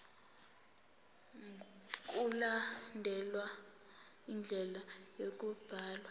mkulandelwe indlela yokubhalwa